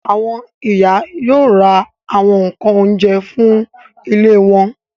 Àwọn ìyá yóò ra àwọn nǹkan oúnjẹ fún ilé wọn.